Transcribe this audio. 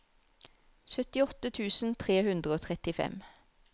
syttiåtte tusen tre hundre og trettifem